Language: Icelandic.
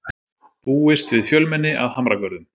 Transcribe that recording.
Búist við fjölmenni að Hamragörðum